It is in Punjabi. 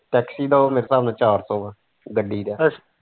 taxi ਦਾ ਉਹ ਮੇਰੇ ਹਿਸਾਬ ਚਾਰ ਸੋ ਹੈ ਗੱਡੀ ਦਾ।